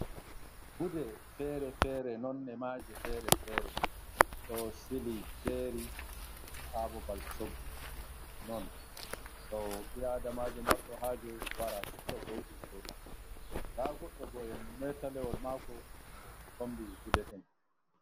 Gude fere-fere nonde maje fere fere ɗo sili jeri ha babal soggu non do ɓi Adamajo marɗo haje wara supta ko yiɗi soda. Nda goɗɗo bo'en metalewol mako de mo tombi gude en.